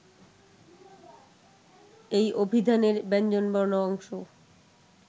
এই অভিধানের ব্যঞ্জনবর্ণ অংশ